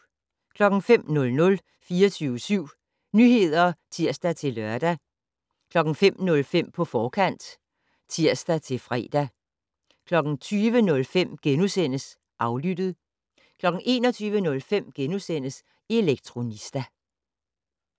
05:00: 24syv Nyheder (tir-lør) 05:05: På forkant (tir-fre) 20:05: Aflyttet * 21:05: Elektronista *